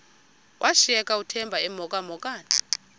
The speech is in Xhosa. washiyeka uthemba emhokamhokana